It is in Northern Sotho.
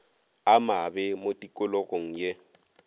a mabe mo tikologong ye